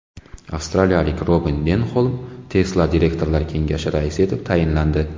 Avstraliyalik Robin Denxolm Tesla direktorlar kengashi raisi etib tayinlandi.